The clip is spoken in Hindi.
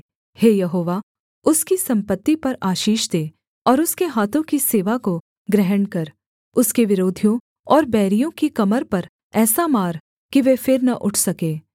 हे यहोवा उसकी सम्पत्ति पर आशीष दे और उसके हाथों की सेवा को ग्रहण कर उसके विरोधियों और बैरियों की कमर पर ऐसा मार कि वे फिर न उठ सके